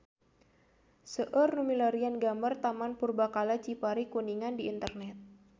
Seueur nu milarian gambar Taman Purbakala Cipari Kuningan di internet